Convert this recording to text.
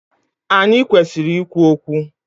Anyị kwesịrị ikwu okwu